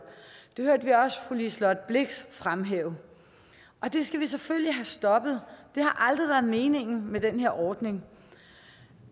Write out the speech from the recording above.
det hørte vi også fru liselott blixt fremhæve og det skal vi selvfølgelig have stoppet det har aldrig været meningen med den her ordning